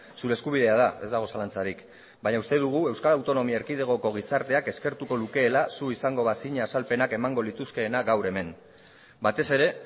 zure eskubidea da ez dago zalantzarik baina uste dugu euskal autonomia erkidegoko gizarteak eskertuko lukeela zu izango bazina azalpenak emango lituzkeena gaur hemen batez ere